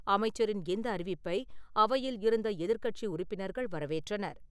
அமைச்சரின் இந்த அறிவிப்பை அவையில் இருந்த எதிர்க்கட்சி உறுப்பினர்கள் வரவேற்றனர்.